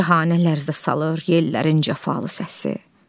Cahanə lərzə salır yellərin cəfalı səsi.